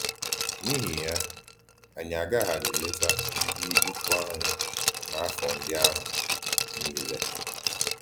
N’íhì yá, ànyí àgàhàdí létà ndí ìkwù ànyí n’áfọ̀ ndí àhụ̀ niile.